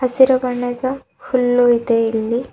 ಹಸಿರು ಬಣ್ಣದ ಹುಲ್ಲು ಇದೆ ಇಲ್ಲಿ.